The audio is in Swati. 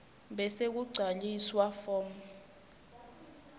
bese kugcwaliswa form